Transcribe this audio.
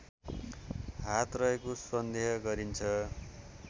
हात रहेको सन्देह गरिन्छ